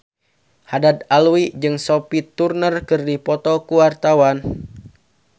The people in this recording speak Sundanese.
Haddad Alwi jeung Sophie Turner keur dipoto ku wartawan